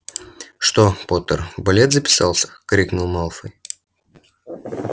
что поттер в балет записался крикнул малфой